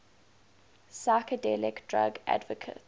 psychedelic drug advocates